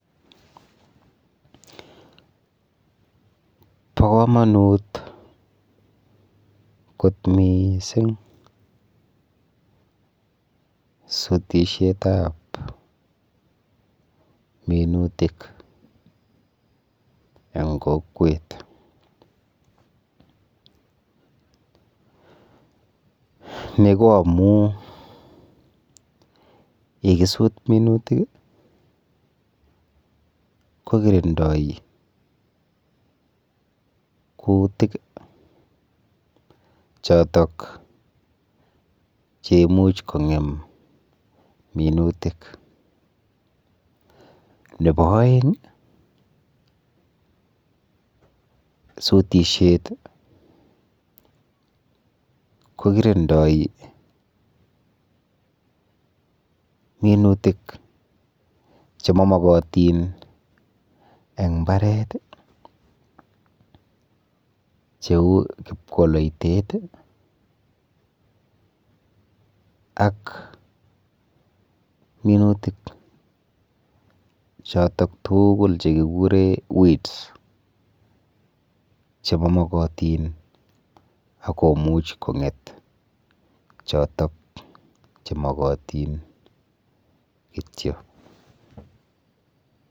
Po komonut kot miising sutishetap minutik eng kokwet. Ni ko amu yekisut minutik kokirindoi kuutik chotok cheimuch kong'em minutik. Nepo oeng sutishet kokirindoi minutik chemamokotin eng mbaret cheu kipkwoloitet ak minutik chotok tuugul chekikure weeds chemamokotin akomuch kong'et chotok chemokotin kityo.